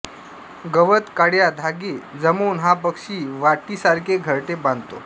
गवत काड्या धागे जमवून हा पक्षी वाटीसारखे घरटे बांधतो